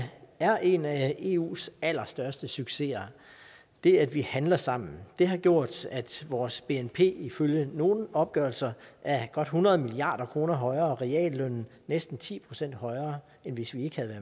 er en af eus allerstørste succeser det at vi handler sammen har gjort at vores bnp ifølge nogle opgørelser er godt hundrede milliard kroner højere og reallønnen næsten ti procent højere end hvis vi ikke havde